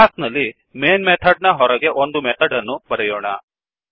class ನಲ್ಲಿ main method ನ ಹೊರಗೆ ಒಂದು ಮೆಥಡ್ ಅನ್ನು ಬರೆಯೋಣ